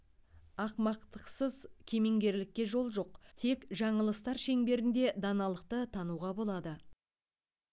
ақымақтықсыз кемеңгерлікке жол жоқ тек жаңылыстар шеңберінде даналықты тануға болады